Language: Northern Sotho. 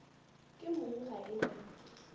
ke mong ga e na